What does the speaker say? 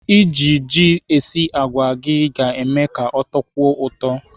Iji ji esi àgwà gị ga-eme ka ọ tọkwuo ụtọ.